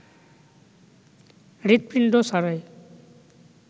হৃদপিণ্ড ছাড়াই